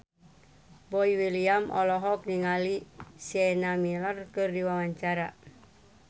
Boy William olohok ningali Sienna Miller keur diwawancara